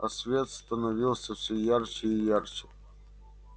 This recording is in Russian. а свет становился все ярче и ярче